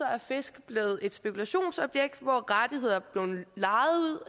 er fisk blevet et spekulationsobjekt hvor rettigheder